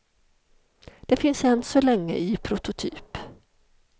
Den finns än så länge i prototyp.